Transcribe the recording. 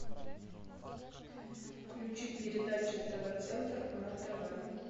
включи передачу тв центр на тв